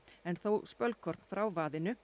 en þó spölkorn frá